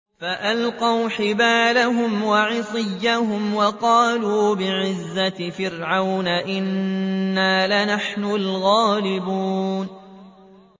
فَأَلْقَوْا حِبَالَهُمْ وَعِصِيَّهُمْ وَقَالُوا بِعِزَّةِ فِرْعَوْنَ إِنَّا لَنَحْنُ الْغَالِبُونَ